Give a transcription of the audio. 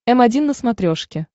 м один на смотрешке